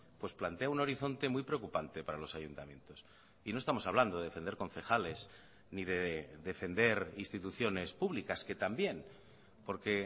pues plantea un horizonte muy preocupante para los ayuntamientos y no estamos hablando de defender concejales ni de defender instituciones públicas que también porque